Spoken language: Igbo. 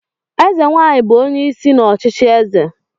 Eze nwanyị bụ onye isi n'ọchịchị eze